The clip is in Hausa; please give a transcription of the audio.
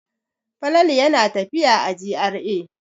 Falalu yana tafiya a GRA.